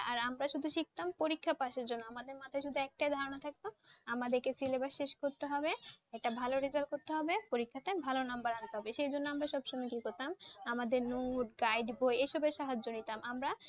আর আমরা শুধু শিখতাম পরীক্ষা পাসের জন্য। আমাদের মাথায় শুধু একটাই ধারনা থাকে আমাদের কে syllabus শেষ করতে হবে। একটা ভালো result করতে হবে, পরীক্ষা তে ভালো নাম্বার আনতে হবে। সেই জন্য আমরা সব সময় কি করতাম আমাদের guide বই এসবের সাহায্য নিতাম। আমরা